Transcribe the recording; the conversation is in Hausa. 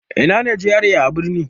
Ina ne GRA a birni?